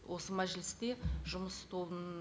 осы мәжілісте жұмыс тобының